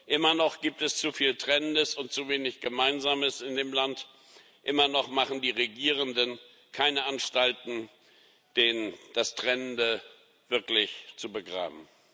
Immer noch gibt es zu viel Trennendes und zu wenig Gemeinsames in dem Land, immer noch machen die Regierenden keine Anstalten, das Trennende wirklich zu begraben.